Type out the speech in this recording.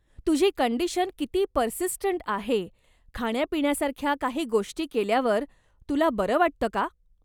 तुझी कंडीशन किती पर्सिस्टंट आहे, खाण्यापिण्यासारख्या काही गोष्टी केल्यावर तुला बरं वाटतं का?